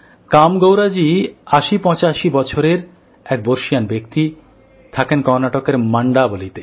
কামেগৌড়াজী ৮০৮৫ বছরের এক বর্ষীয়ান ব্যক্তি থাকেন কর্ণাটকের মন্ডাবালীতে